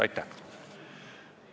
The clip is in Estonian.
Aitäh!